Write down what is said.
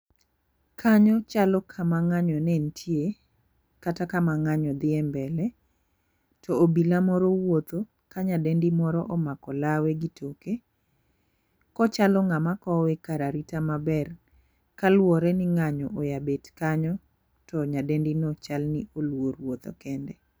Kanyo chalo kama ng'anyo ne nitie kata kama ng'anyo dhi embele to obila moro wuotho ka nyadendi moro omako lawe gi toke ,kochalo ng'ama kowe kar arita maber kaluwore ni ng'anyo ao bet kanyo to nyadendi no chal ni luor wuotho kende.